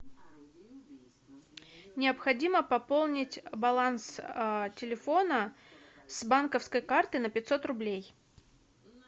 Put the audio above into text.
необходимо пополнить баланс телефона с банковской карты на пятьсот рублей